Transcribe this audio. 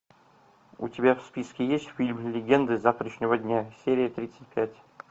у тебя в списке есть фильм легенды завтрашнего дня серия тридцать пять